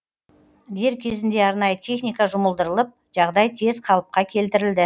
дер кезінде арнайы техника жұмылдырылып жағдай тез қалыпқа келтірілді